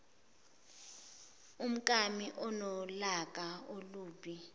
umkami unolaka olubi